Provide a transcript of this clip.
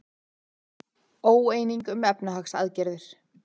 Óeining um efnahagsaðgerðir